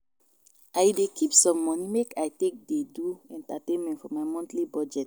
I dey keep some money make I take dey do entertainment for my monthly budget.